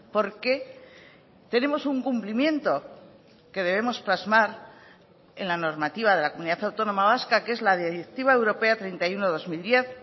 porque tenemos un cumplimiento que debemos plasmar en la normativa de la comunidad autónoma vasca que es la directiva europea treinta y uno barra dos mil diez